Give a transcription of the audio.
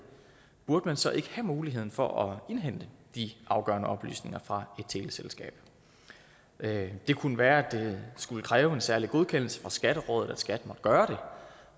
burde man så ikke have muligheden for at indhente de afgørende oplysninger fra et teleselskab det kunne være at det skulle kræve en særlig godkendelse fra skatterådet at skat måtte gøre